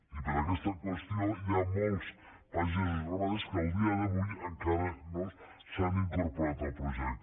i per aquesta qüestió hi ha molts pagesos i ramaders que a dia d’avui encara no s’han incorporat al projecte